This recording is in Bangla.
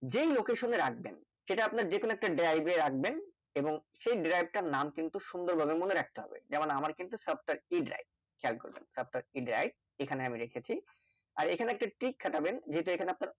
যেই Location রাখবেন সেটা আপনার যে কোনো Drive রাখবেন এবং সেই Drive টার নাম কিন্তু সুন্দর ভাবে মনে রাখতে হবে যেমন আমার কিন্তু সবটা e Drive খেয়াল করবেন Software e Drive এখানে আমি দেখেছি আর এখানে একটা Trick খাটাবেন যেখানে আপনার